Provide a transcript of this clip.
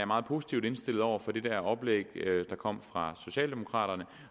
meget positivt indstillet over for det oplæg der kom fra socialdemokraterne